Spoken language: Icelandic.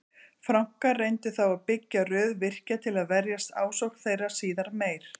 Frankar reyndu þá að byggja röð virkja til að verjast ásókn þeirra síðar meir.